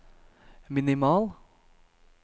minimal